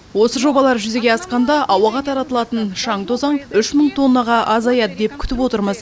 осы жобалар жүзеге асқанда ауаға таралатын шаң тозаң үш мың тоннаға азаяды деп күтіп отырмыз